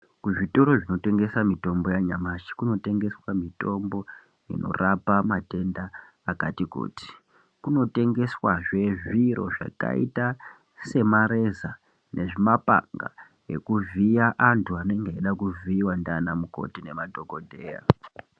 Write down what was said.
Kuzvitoro zvinotengesa mitombo yanyamashi kunotengeswa mitombo inorapa matenda akati kuti. Kuno tengeswazve zviro zvakaita semareza nezvimapanga ekuvhiya antu anenge eida kuvhiiva ndiiana mukoti nemadhogodheya.